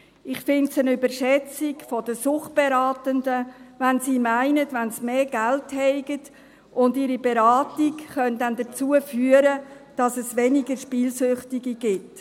Ich finde es eine Überschätzung der Suchtberatenden, wenn diese meinen, dass wenn sie mehr Geld zur Verfügung hätten, ihre Beratung dazu führt, dass es weniger Spielsüchtige gäbe.